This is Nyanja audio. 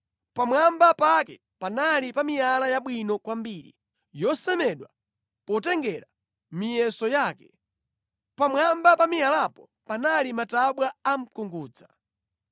Pamwamba pake panali pa miyala yabwino kwambiri, yosemedwa potengera miyeso yake. Pamwamba pa miyalayo panali matabwa a mkungudza.